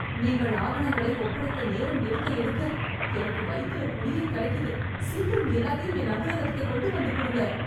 நீங்க ஆவணங்களை ஒப்படைக்க நேரம் எடுக்க எடுக்க எனக்கு வயித்துல புளியைக் கரைக்குது. சீக்கிரம் எல்லாத்தையும் என் அலுவலகத்துக்குக் கொண்டு வந்துக் குடுங்க.